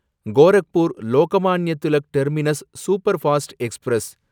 Gorakhpur Lokmanya Tilak terminus superfast express